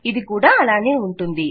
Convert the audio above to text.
ఇది కూడా అలానే ఉంటుంది